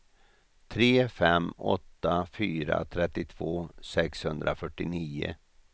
tre fem åtta fyra trettiotvå sexhundrafyrtionio